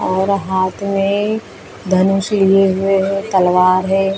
और हाथ मे धनुष लिए हुए है तलवार है ।